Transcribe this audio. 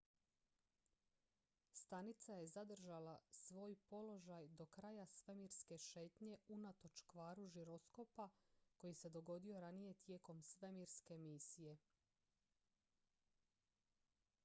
stanica je zadržala svoj položaj do kraja svemirske šetnje unatoč kvaru žiroskopa koji se dogodio ranije tijekom svemirske misije